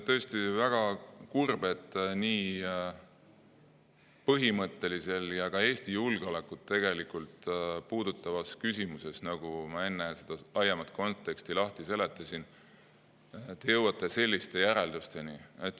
Tõesti väga kurb, et nii põhimõttelises ja ka Eesti julgeolekut tegelikult puudutavas küsimuses, nagu ma enne seda laiemat konteksti lahti seletasin, te jõuate selliste järeldusteni.